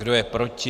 Kdo je proti?